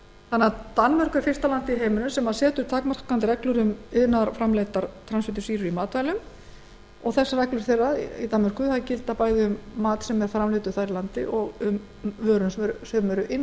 heilsunni danmörk er því fyrsta landið í heiminum sem setur takmarkandi reglur um iðnaðarframleiddar transfitusýrur í matvælum og reglur þeirra í danmörku gilda bæði um mat sem framleiddur er þar í landi og um vörur sem eru